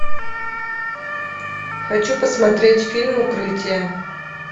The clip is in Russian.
хочу посмотреть фильм укрытие